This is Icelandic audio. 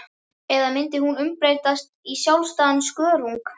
Eða myndi hún umbreytast í sjálfstæðan skörung?